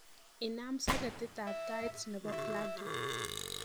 inam soketit ab tait nebo plagi